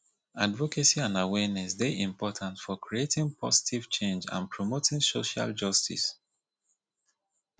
advocacy and awareness dey important for creating positive change and promoting social justice